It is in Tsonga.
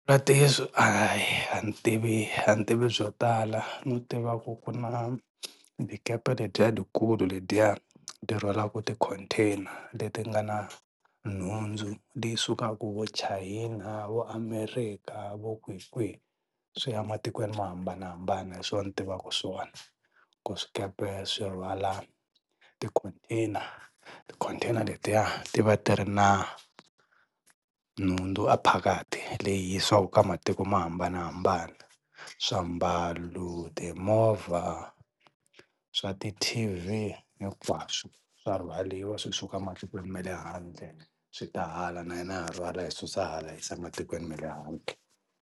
a hi a ni tivi a ni tivi byo tala no tiva kui ku na dyikepe ledyiya dyikulu ledyiya dyi rhwalaka ti-container leti nga na nhundzu leyi sukaka vo China na vo America vo kwihikwihi swi ya ematikweni mo hambanahambana hi swona ni tivaka swona ku swikepe swi rhwala ti-container ti-container letiya ti va ti ri na nhundzu ephakathi leyi yisiwaka ka matiko mo hambanahambana, swiambalo, timovha, swa ti T_V hinkwaswo swa rhwaliwa swi suka matikweni ma le handle swi ta hala na hina ha rhwala hi susa hala hi yisa matikweni ma le handle.